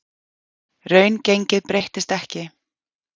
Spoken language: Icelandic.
Raungengið breyttist ekki